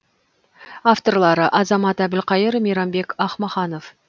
авторлары азамат әбілқайыр мейрамбек ахмаханов